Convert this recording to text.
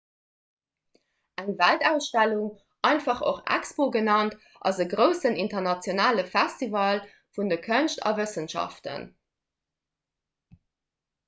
eng weltausstellung einfach och expo genannt ass e groussen internationale festival vun de kënscht a wëssenschaften